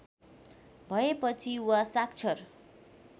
भएपछि वा साक्षर